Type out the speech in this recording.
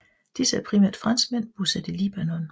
Disse er primært franskmænd bosat i Libanon